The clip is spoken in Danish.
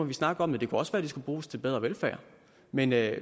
vi snakke om det det kunne også være de skulle bruges til bedre velfærd men det